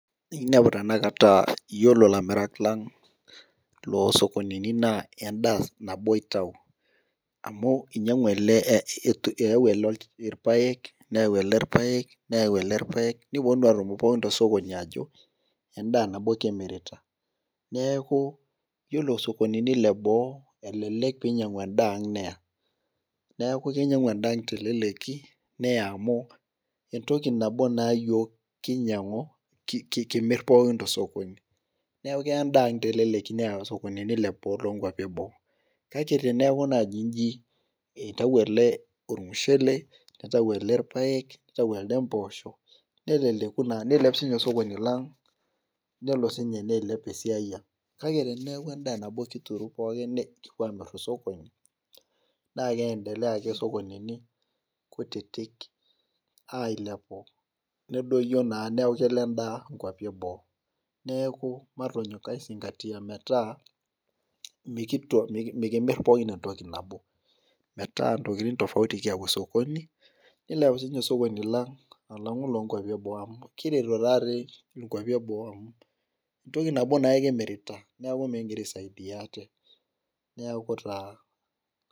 Inepu tenakata aa iyiolo ilamirak lang' loo sokonini naa edaa nabo itau, amu kinyiang'u ele eyau ele, irpaek neyau ele irpaek, neyau ele irpaek nipuonunu adol pooki tosokoni aajo, edaa nabo kimirita. neeku iyiolo sokonini le. Boo elelek pee inyiang'u edaa yiang neya. neeku kinyiang'u edaa teleleki neyau amu, entoki nabo naa iyiook kinyiang'u, kimir pookin tosokoni. neeku keya edaa ang teleleki. neya tosokoni, nilepu taa too nkuapi eboo. kake teneku naaji iji itau ele olmushele. nitau ele irpaek, nitau elde mpoosho. neleleku naa, niilep sii ninye osokoni lang' niteru sii ninye neilep esiai ang'.kake teneeku edaa nabo kituru pookin nikipuo Aamir tosokoni, naa keendelea ake sokonini kutitik ailepu. nedoyio naa neeku kelo edaa nkuapi eboo. neeku matonyok aisingatia metaa, mikimir pookin entoki nabo. metaa ntokitin tofauti kiyau osokoni. nilepu sii ninye osokoni lang' alangu oloonkuapi. eboo amu kiretito taa dii nkuapi eboo amu entoki nabo naake kimirita neeku mikigira aaisaidia ate. niaku taa .